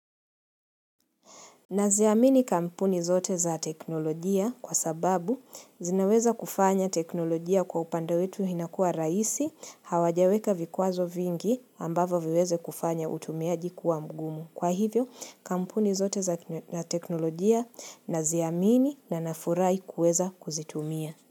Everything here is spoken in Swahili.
Naziamini kampuni zote za teknolojia kwa sababu zinaweza kufanya teknolojia kwa upande wetu inakuwa rahisi, hawajaweka vikwazo vingi ambavyo vyaweza kufanya utumiaji kuwa mgumu. Kwa hivyo, kampuni zote za teknolojia naziamini na nafurahi kuweza kuzitumia.